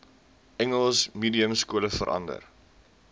engels mediumskole verander